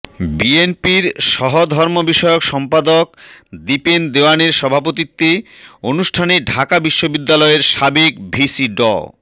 বিএনপির সহধর্মবিষয়ক সম্পাদক দীপেন দেওয়ানের সভাপতিত্বে অনুষ্ঠানে ঢাকা বিশ্ববিদ্যালয়ে সাবেক ভিসি ড